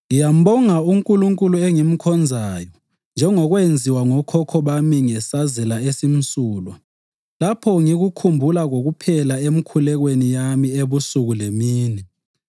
Ngiyambonga uNkulunkulu engimkhonzayo njengokwenziwa ngokhokho bami ngesazela esimsulwa lapho ngikukhumbula kokuphela emikhulekweni yami ebusuku lemini.